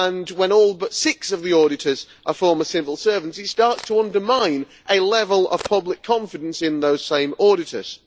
When all but six of the auditors are former civil servants, it starts to undermine a level of public confidence in those same auditors.